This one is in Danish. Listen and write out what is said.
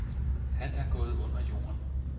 Han er gået under jorden.